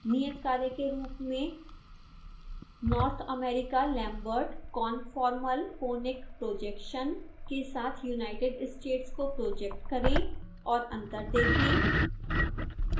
नियतकार्य के रूप में: north_america_lambert_conformal_conic projection के साथ united states को प्रोजेक्ट करें और अंतर देखें